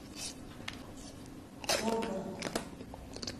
славгород